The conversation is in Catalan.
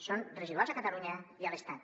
són residuals a catalunya i a l’estat